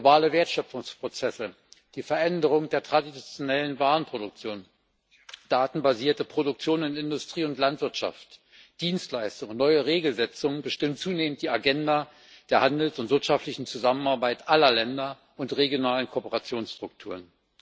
Globale Wertschöpfungsprozesse, die Veränderung der traditionellen Warenproduktion, datenbasierte Produktion in Industrie und Landwirtschaft, Dienstleistungen und neue Regelsetzungen bestimmen zunehmend die Agenda der Handels und wirtschaftlichen Zusammenarbeit aller Länder und regionalen Kooperationsstrukturen.